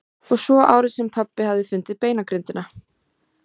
Og svo árið sem pabbi hafði fundið beinagrindina.